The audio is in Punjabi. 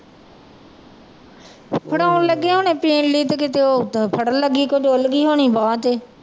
ਫੜਾਉਣ ਲੱਗੇ ਹੋਣੇ ਪੀਣ ਲਈ ਤੇ ਕਿਤੇ ਉਹ ਫੜਨ ਲੱਗੀ ਤੋਂ ਡੁੱਲ ਗਈ ਹੋਣੀ ਬਾਂਹ ਤੇ।